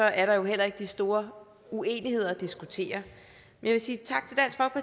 er der jo heller ikke de store uenigheder at diskutere jeg vil sige tak